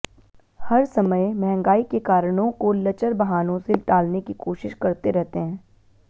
हर समय महंगाई के कारणों को लचर बहानों से टालने की कोशिश करते रहते हैं